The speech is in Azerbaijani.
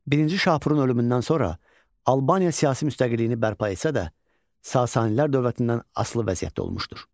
Birinci Şapurun ölümündən sonra Albaniya siyasi müstəqilliyini bərpa etsə də, Sasanilər dövlətindən asılı vəziyyətdə olmuşdur.